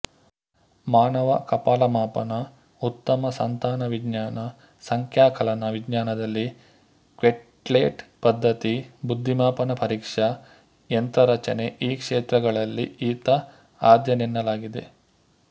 ಮಾನವ ಕಪಾಲಮಾಪನ ಉತ್ತಮ ಸಂತಾನವಿಜ್ಞಾನ ಸಂಖ್ಯಾಕಲನ ವಿಜ್ಞಾನದಲ್ಲಿ ಕ್ವೆಟ್ಲೆಟ್ ಪದ್ಧತಿ ಬುದ್ಧಿಮಾಪನ ಪರೀಕ್ಷಾ ಯಂತ್ರರಚನೆಈ ಕ್ಷೇತ್ರಗಳಲ್ಲಿ ಈತ ಆದ್ಯನೆನ್ನಲಾಗಿದೆ